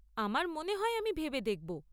আমার মনে হয় আমি ভেবে দেখব।